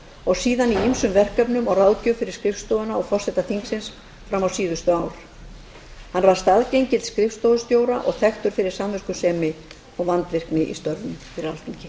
og síðan í ýmsum verkefnum og ráðgjöf fyrir skrifstofuna og forseta þingsins fram á síðustu ár hann var staðgengill skrifstofustjóra og þekktur að samviskusemi og vandvirkni í störfum fyrir alþingi